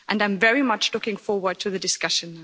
I'm very much looking forward to the discussion.